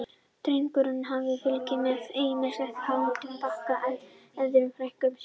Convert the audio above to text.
Drengur hafði fylgst með, ýmist á háhesti, baki eða í örmum frænku sinnar.